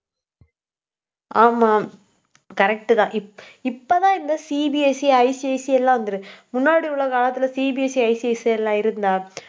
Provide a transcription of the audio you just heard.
ஆமாம், correct தான் இப்ப~ இப்பதான் இந்த CBSEICSE எல்லாம் வந்திருக்கு. முன்னாடி உள்ள காலத்துல CBSEICSE எல்லாம் இருந்ததா